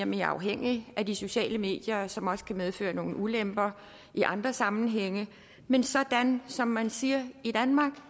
mere afhængige af de sociale medier som også kan medføre nogle ulemper i andre sammenhænge men sådan er som man siger i danmark og